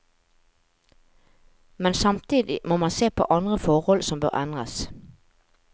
Men samtidig må man se på andre forhold som bør endres.